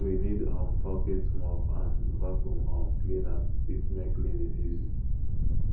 we need um bucket mop and vaccum um cleaner to fit make cleaning easy